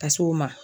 Ka s'o ma